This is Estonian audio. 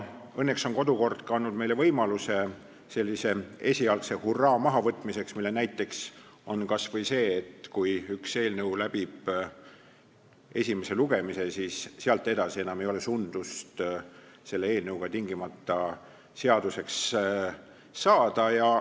Õnneks on kodukord andnud meile võimaluse esialgse hurraa mahavõtmiseks, mille näiteks võib tuua kas või selle, et kui üks eelnõu läbib esimese lugemise, siis sealt edasi enam ei ole sundust, et see eelnõu tingimata seaduseks saaks.